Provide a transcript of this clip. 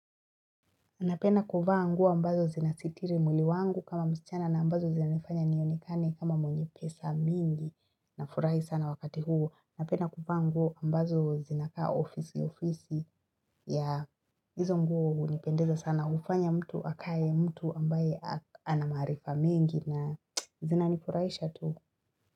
Nanapena kuvaa nguo ambazo zinastitiri mwili wangu kama msichana na ambazo zinanifanya nionikane kama mwenye pesa mingi na furahi sana wakati huo. Napenda kuvaa nguo ambazo zinaka ofisi ofisi ya hizo nguo hunipendeza sana hufanya mtu akae mtu ambaye ana maarifa mingi na zinanifuraisha tu.